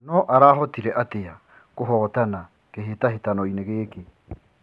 No arahotire atĩ a kũhotana kĩ hĩ tahĩ tanoinĩ gĩ kĩ .